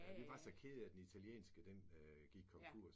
Ja vi var så kede af den italienske den gik konkurs